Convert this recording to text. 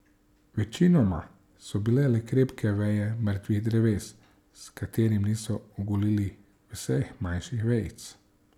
Večinoma so bile le krepke veje mrtvih dreves, s katerih niso ogulili vseh manjših vejic.